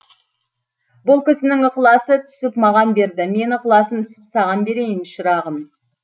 бұл кісінің ықыласы түсіп маған берді мен ықыласым түсіп саған берейін шырағым